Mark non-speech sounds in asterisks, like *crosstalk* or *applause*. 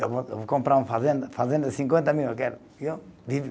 Eu vou, eu vou comprar uma fazenda, fazenda de cinquenta mil, eu quero *unintelligible*